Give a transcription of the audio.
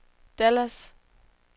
Dallas